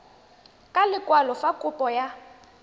ka lekwalo fa kopo ya